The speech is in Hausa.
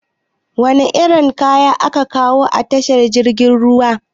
Wana irin kaya ake kawowa a tashar jirgin ruwa?